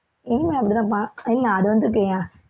இனிமே அப்படிதான்பா, இல்ல அது